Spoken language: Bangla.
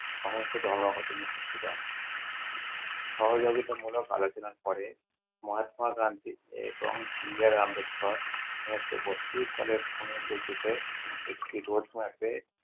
দেন। সহযোগিতা মূলক আলোচনা করে। মহাত্মা গান্ধী এবং বি. আর. আম্বেদকর ঊনিশশো বত্রিশ সালে একটি ঘোষণাতে